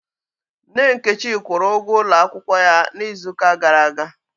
Nne Nkechi kwụrụ ụgwọ ụlọ akwụkwọ ya n'izu ụka gara aga